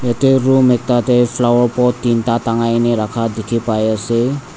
ite room ekta teh flower pot tinta na rakha dikhi pai ase.